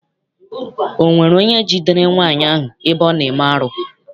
Ọ nwere onye jidere nwaanyị ahụ ebe ọ na-eme arụ?